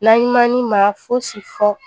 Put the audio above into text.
N'an ɲumani ma fosi fɔ